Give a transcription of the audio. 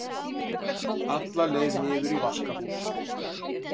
alla leið niður í vaskahús.